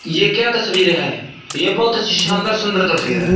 ये क्या तस्वीर है ये बहुत शानदार सुंदर तस्वीर है।